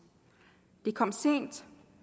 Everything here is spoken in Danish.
det er kommet sent